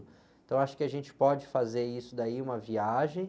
Então, acho que a gente pode fazer isso daí, uma viagem.